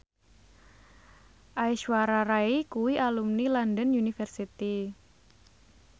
Aishwarya Rai kuwi alumni London University